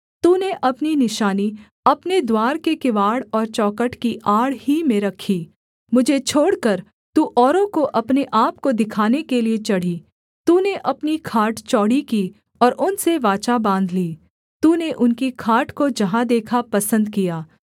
तूने अपनी निशानी अपने द्वार के किवाड़ और चौखट की आड़ ही में रखी मुझे छोड़कर तू औरों को अपने आपको दिखाने के लिये चढ़ी तूने अपनी खाट चौड़ी की और उनसे वाचा बाँध ली तूने उनकी खाट को जहाँ देखा पसन्द किया